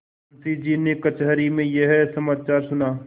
मुंशीजी ने कचहरी में यह समाचार सुना